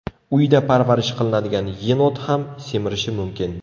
Uyda parvarish qilinadigan yenot ham semirishi mumkin.